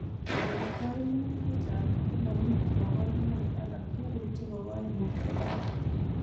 En koimutik chechang' komomi koborunoik alak tugul chebo koimutioniton.